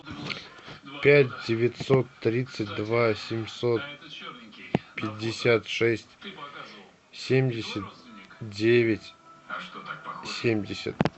пять девятьсот тридцать два семьсот пятьдесят шесть семьдесят девять семьдесят